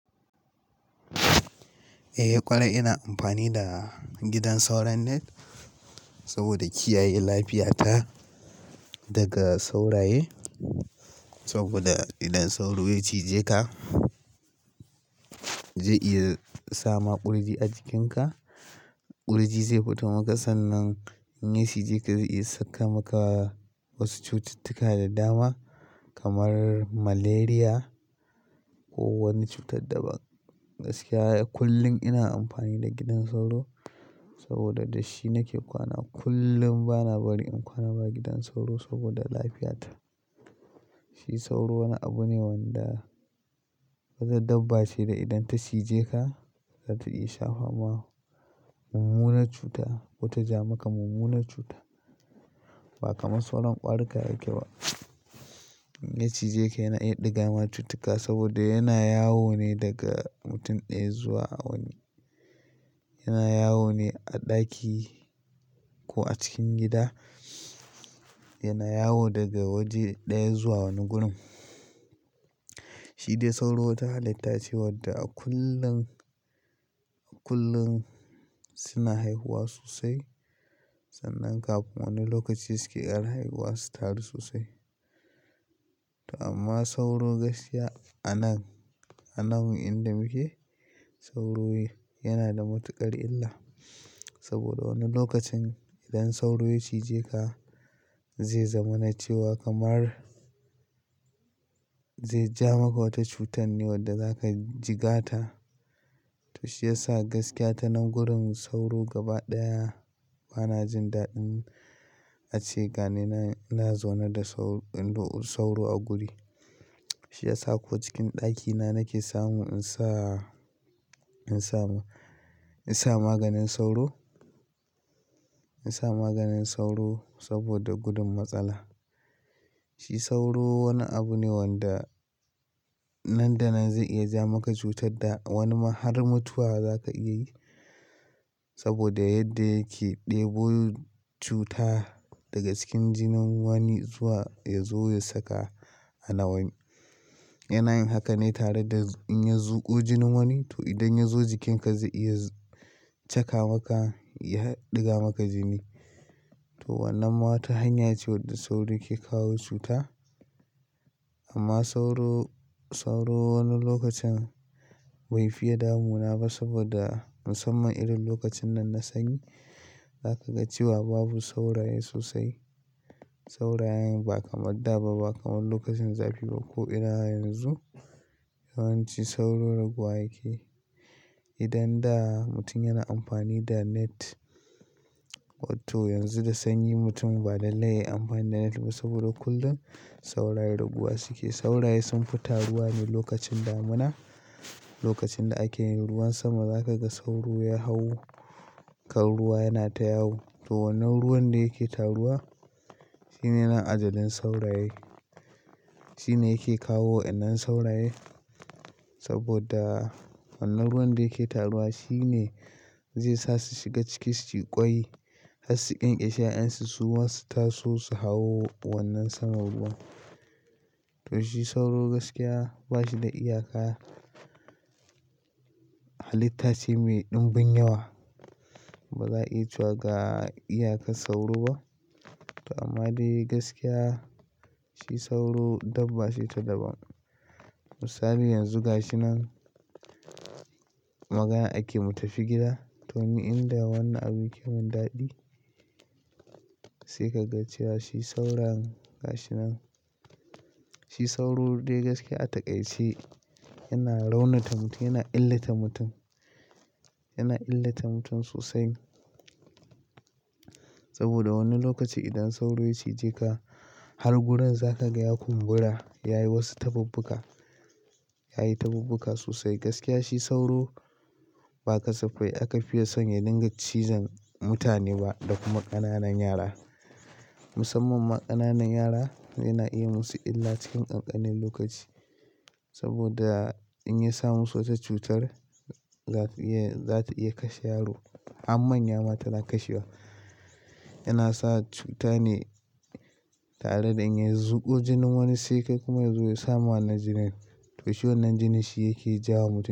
Eh ƙwarai, ina amfani da gidan sauran net saboda kiyaye lafiyata daga sauraye. Saboda idan sauro ya cije ka zai iya sa ma ƙurji a jikinka. Kurji zai fito maka sannan in ya cije ka zai iya saka maka wasu cututtuka da dama kamar malaria ko wani cutar daban. Gaskiya kullum ina amfani da gidan sauro saboda da shi nake kwana. Kullum bana bari in kwana ba gidan sauro saboda lafiyata. Shi sauro wani abu ne wanda gaza dabba ce da idan ta cije ka zata iya shafa ma mummunar cuta, wata ja maka mummunar cuta ba kamar sauran ƙwarika yake ba. In ya cije ka yana iya ɗiga ma cututtuka saboda yana yawo ne daga mutum ɗaya zuwa wani. Yana yawo ne a ɗaki ko a cikin gida, yana yawo daga waje ɗaya zuwa wani gurin. Shi dai sauro ta halitta ce wadda a kullum, a kullum suna haihuwa sosai sannan kaf wani lokaci su ke ƙara haihuwa su taru sosai. Amma sauro gaskiya a nan inda muke sauro yana da matukan illa, saboda wani lokacin idan sauro ya cije za zama na cewa kamar. Zai ja maka wata cutar ne wadda zaka jiga ta. To shi yasa gaskiya ta nan gurin sauro gabaɗaya bana jin daɗin ace ga ni ina zaune da sauro, sauro a guri. Shi yasa ko cikin ɗakina nake samu in sa, in samu, in sa maganin sauro, in sa maganin sauro saboda gudun matsala. Shi sauro wani abu ne wanda nan da nan zai iya ja maka cutar da wani ma har mutuwa za ka iya yi saboda yadda yake ɗebo cuta daga cikin jinin wani zuwa ya zo ya saka a na wani. Yana yin haka ne tare da in ya zuƙo jinin wani to idan ya zo jikinka zai iya caka maka, ya ɗiga maka jini. To wannan ma ta hanya ce wadda sauro ke kawo cuta. Amma sauro, sauro wani lokacin bai fiye damuna ba saboda musamman irin lokacin nan na sanyi za ka ga cewa babu sauraye sosai. Saurayen ba kamar da ba, ba kamar lokacin zafi ba ko ina yanzu yawanci sauro raguwa yake. Idan da mutum yana amfani da net to yanzu da sanyi mutum ba dallai ya amfani da net ba saboda kullum sauraye raguwa suke. Sauraye sun fi taruwa ne lokacin damuna, lokacin da ake yi ruwan sama za ka ga sauro ya hau kan ruwa yana ta yawo. To wannan ruwan da yake taruwa shine na ajalin sauraye, shine yake kawo wannan sauraye saboda wannan ruwan da yake taruwa shine zai sa su shiga ciki su yi ƙwai har su ƙyanƙyashe 'yansu su ma su taso su hau wannan saman ruwa. To shi sauro gaskiya ba shi da iyaka. Halitta ce mai ɗimbin yawa. Ba za'a iya ciwa ga iyakar sauro ba. To amma dai gaskiya shi sauro dabba ce ta daban. Misali yanzu gashi nan magana ake mu tafi gida to ni in da wannan abun ke mun daɗi sai ka ga cewa shi sauran gashi nan. Shi sauro dai gaskiya a taƙaice yana raunata mutum, yana illata mutum, yana illata mutum sosai saboda wani lokaci idan sauro ya cije ka har gurin za ka ga ya kumbura, ya yi wasu tabubbuka, ya yi tabubbuka sosai. Gaskiya shi sauro ba kasafai aka fiya son ya dinga cizon mutane ba da kuma ƙananan yara. Musamman ma ƙananan yara yana iya yi musu illa cikin ƙanƙanin lokaci saboda in ya sa musu wata cutar za su iya, za ta iya kashe yaro. Han man yama ta na kashewa. Yana sa cutane tare da in ya zuƙo jinin wani sai kai kuma ya zo ya samu wannan jinin to shi wannan jinin shi yake jawo mutuwa.